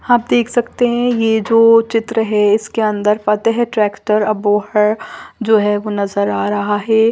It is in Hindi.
आप देख सकते हैं ये जो चित्र है इसके अन्दर फ़तेह ट्रैक्टर अबोहर जो है वो नज़र आ रहा है।